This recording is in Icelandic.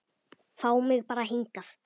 Fá mig bara hingað.